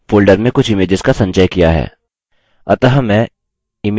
अतः मैं image1 चुनूँगा